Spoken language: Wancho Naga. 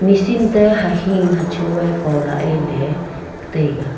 machine ta hahing hacho ye polah ye ley taiga.